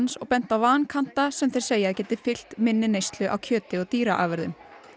og bent á vankanta sem þeir segja að geti fylgt minni neyslu á kjöti og dýraafurðum